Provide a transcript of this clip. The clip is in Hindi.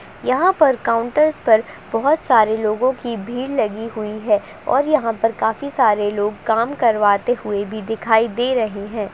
यहाँ पर काउंटर्स पर बहुत सारे लोगो की भीड़ लगी हुई है। और यहाँ पर काफी सारे लोग काम करवाते हुए भी दिखाई दे रहे हैं।